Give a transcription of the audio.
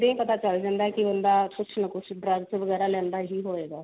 ਪਤਾ ਚਲ ਜਾਂਦਾ ਕੇ ਕੁਛ ਨਾ ਕੁਛ drugs ਵਗੇਰਾ ਲੈਂਦਾ ਹੀ ਹੋਵੇਗਾ